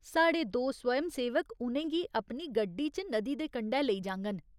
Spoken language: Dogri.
साढ़े दो स्वयंसेवक उ'नें गी अपनी गड्डी च नदी दे कंढै लेई जाङन।